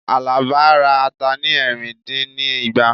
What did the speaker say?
Alaba ra ata ni ẹ̀rìn dín ní igba